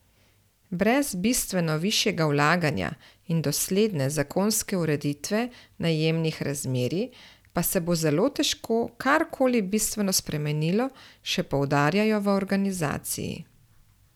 Brez bistveno višjega vlaganja in dosledne zakonske ureditve najemnih razmerij pa se bo zelo težko karkoli bistveno spremenilo, še poudarjajo v organizaciji.